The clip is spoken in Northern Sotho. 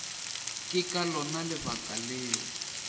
ke ka lona lebaka leo